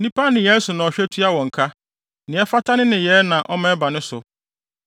Nnipa nneyɛe so na ɔhwɛ tua wɔn ka; nea ɛfata ne nneyɛe na ɔma ɛba ne so.